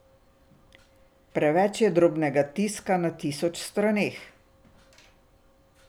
Preveč je drobnega tiska na tisoč straneh.